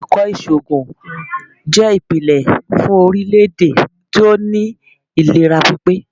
Àwọn Ẹ̀kọ́ ìṣògùn jẹ́ ìpìlẹ̀ fún orílè-èdè tí ó ní ìlera pípé.